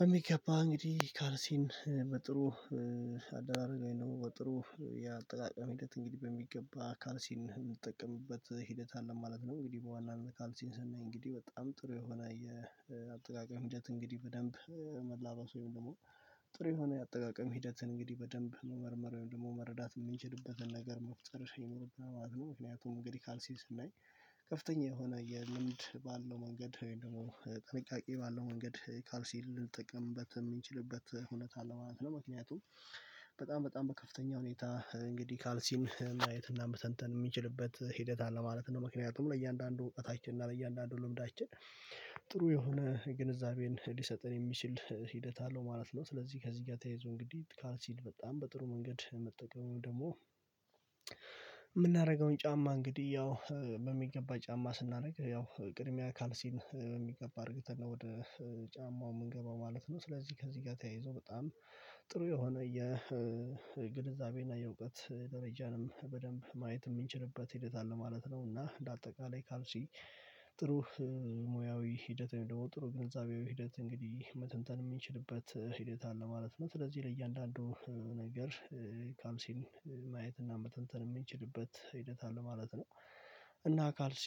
በሚገባ እንግዲህ ካልሲን በጥሩ አደራረግ ወይም ደሞ በጥሩ ያጠቃቀመ ሂደት እንግዲህ በሚገባ ካርሲን የምንጠቀምበት ሂደት አለ ማለት ነው። እንግዲህ በዋናነት ካልሲን ስናይ እንግዲህ በጣም ጥሩ የሆነ የአጠቃቃይ ሁኔታ ሂደት እንግዲህ በደንብ መላበሱ ወይም ደግሞ ጥሩ የሆነ አጠቃቀም ሂደትን እንግዲህ በደንብ መመርመር ወይም ደግሞ መረዳት የምንችልበትን ነገር መፍጠር ይኖርብናል ማለት ነው። ምክንያቱም እንግዲህ ካልሲን ስናይ ከፍተኛ የሆነ የልምድ ባለው መንገድ ደግሞ ጥንቃቄ ባለው መንገድ ካልሲን ልንጠቅምበት የምንችልበት ሁነት አለ ማለት ነው። ምክንያቱም በጣም በጣም በከፍተኛ ሁኔታ እንግዲህ ካልሲን ማየት እና መተንተን የምንችልበት ሂደት አለ ማለት ነው። ምክንያቱም ለእያንዳንዱ እውቀታችን እና ለእያንዳንዱ ልምዳችን ጥሩ የሆነ ግንዛቤን ሊሰጥን የሚችል ሂደት አለው ማለት ነው። ስለዚህ ከዚህ ጋር ተያይዞ እንግዲህ ካልሲን በጣም በጥሩ መንገድ መጠቀም ደግሞ የምናደርገውን ጫማ እንግዲህ ያው በሚገባ ጫማ ስናደርግ ያው ቅድሚያ ካልሲን በሚገባ አድርገን ወደ ጫማው የምንገባው ማለት ነው። ስለዚህ ከዚህ ጋር ተያይዞ በጣም ጥሩ የሆነ የግንዛቤ እና የእውቀት ደረጃንም በደንብ ማየት የምንችልበት ሂደት አለ ማለት ነው። እና ለአጠቃላይ ካልሲ ጥሩ ሙያዊ ሂደት ወይም ደግሞ ጥሩ ግንዛቤው ሂደት እንግዲህ መተንተን የሚችልበት ሂደት አለ ማለት ነው። ስለዚህ ለእያንዳንዱ ነገር ካልሲን ማየት እና መተንተን የምንችልበት ሂደት አለ ማለት ነው። እና ካልሲ